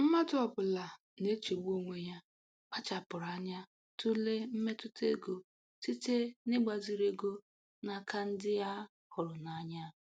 Mmadụ ọbụla na-echegbu onwe ya kpachapụrụ anya tụlee mmetụta ego sitere n'igbaziri ego n'aka ndị a hụrụ n'anya.